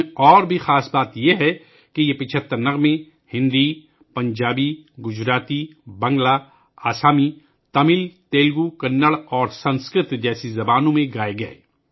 اس میں خاص بات یہ بھی ہے کہ یہ 75 گیت ہندی، پنجابی، گجراتی، بنگالی، آسامی، تامل، تیلگو، کنڑ اور سنسکرت جیسی زبانوں میں گائے گئے